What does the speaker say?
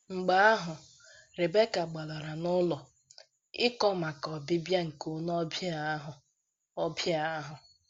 Mgbe ahụ, Rebeka gbalara n’ụlọ, ịkọ maka ọbịbịa nke onye ọbịa ahụ. ọbịa ahụ.